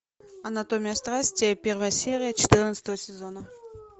анатомия страсти первая серия четырнадцатого сезона